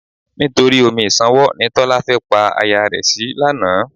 Nítorí omi ìṣanwọ́ ni Tọ́lá fẹ́ pa aya rẹ̀ sí lánàá.